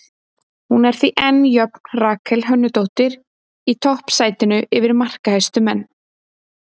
Hún er því enn jöfn Rakel Hönnudóttur í toppsætinu yfir markahæstu menn.